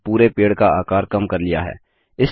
और हमने पूरे पेड़ का आकार कम कर लिया है